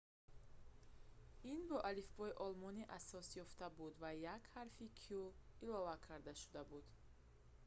ин бо алифбои олмонӣ асос ёфта буд ва як ҳарфи õ/õ илова карда шуда буд